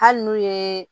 Hali n'u ye